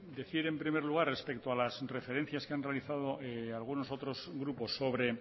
decir en primer lugar respecto a las referencias que han realizado algunos otros grupos sobre